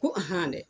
Ko dɛ